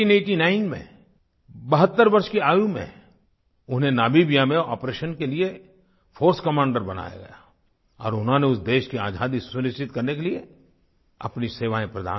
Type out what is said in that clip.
1989 में 72 वर्ष की आयु में उन्हें नामिबिया में आपरेशन के लिए फोर्स कमांडर बनाया गया और उन्होंने उस देश की आज़ादी सुनिश्चित करने के लिए अपनी सेवाएँ प्रदान की